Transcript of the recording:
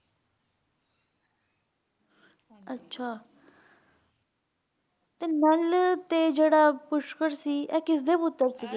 ਅੱਛਾ ਤੇ ਨਲ ਤੇ ਜਿਹੜਾ ਪੁਸ਼ਕਰ ਸੀ ਇਹ ਕਿਸਦੇ ਪੁੱਤਰ?